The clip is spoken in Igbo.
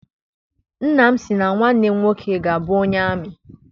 Nnam si na nwanne m nwoke ga abụ onye amị.